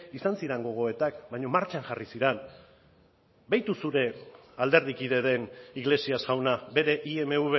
izan ziren gogoetak baina martxan jarri ziren behitu zure alderdikideren iglesias jauna bere imv